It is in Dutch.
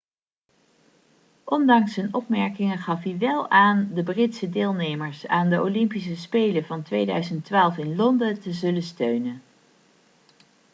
ondanks zijn opmerkingen gaf hij wel aan de britse deelnemers aan de olympische spelen van 2012 in londen te zullen steunen